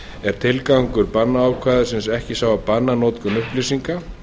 er tilgangur bannákvæðisins ekki sá að banna notkun upplýsinga